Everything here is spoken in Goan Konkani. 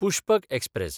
पुष्पक एक्सप्रॅस